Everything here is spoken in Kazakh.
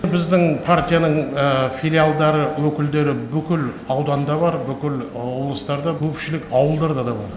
біздің партияның филиалдары өкілдері бүкіл ауданда бар бүкіл облыстарда көпшілік ауылдарда да бар